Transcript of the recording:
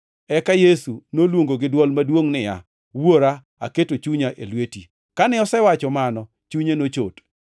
Eka Yesu noluongo gi dwol maduongʼ niya, “Wuora, aketo chunya e lweti.” Kane osewacho mano, chunye nochot.